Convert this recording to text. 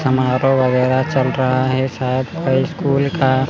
समारोह वगैरा चल रहा है शायद स्कूल का--